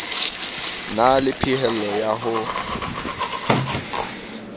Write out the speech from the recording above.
na le phehello ya ho